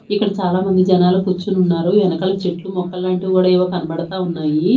ఇక్కడ చాలామంది జనాలు కుచ్చొని ఉన్నారు వెనకల చెట్లు మొక్కలు లాంటివి కూడా ఏవో కనబడతా ఉన్నాయి.